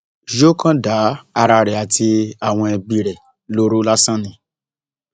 yóò kàn dá ara rẹ àti àwọn ẹbí rẹ lóró lásán ni